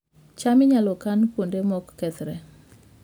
cham inyalo kan kuonde ma okethore